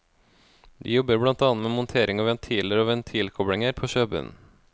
De jobber blant annet med montering av ventiler og ventilkoblinger på sjøbunnen.